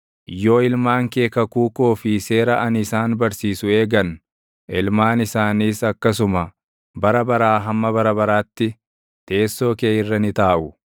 yoo ilmaan kee kakuu koo fi seera ani isaan barsiisu eegan, ilmaan isaaniis akkasuma bara baraa hamma bara baraatti // teessoo kee irra ni taaʼu.”